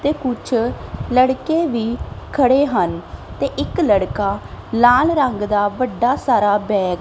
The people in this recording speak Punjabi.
ਤੇ ਕੁੱਛ ਲੜਕੇ ਵੀ ਖੜੇ ਹਨ ਤੇ ਇੱਕ ਲੜਕਾ ਲਾਲ ਰੰਗ ਦਾ ਵੱਡਾ ਸਾਰਾ ਬੈਗ --